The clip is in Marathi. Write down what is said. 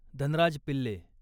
धनराज पिल्ले